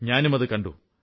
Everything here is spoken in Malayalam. ഞാനും അതു കണ്ടു